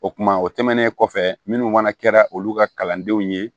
O kumana o tɛmɛnen kɔfɛ minnu fana kɛra olu ka kalandenw ye